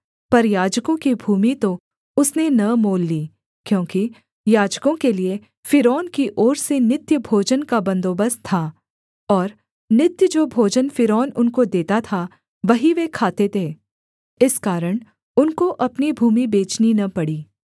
पर याजकों की भूमि तो उसने न मोल ली क्योंकि याजकों के लिये फ़िरौन की ओर से नित्य भोजन का बन्दोबस्त था और नित्य जो भोजन फ़िरौन उनको देता था वही वे खाते थे इस कारण उनको अपनी भूमि बेचनी न पड़ी